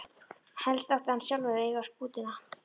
Helst átti hann sjálfur að eiga skútuna.